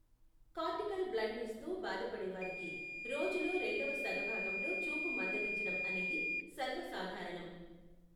Cortical బ్లైండ్నెస్తో బాధపడేవారికి రోజులో రెండవ సగభాగంలో చూపు మందగించడం అనేది సర్వసాధారణం.